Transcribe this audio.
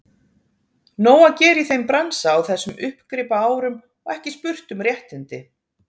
Nóg að gera í þeim bransa á þessum uppgripaárum og ekki spurt um réttindi.